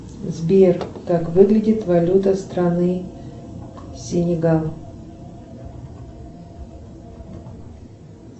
сбер как выглядит валюта страны сенегал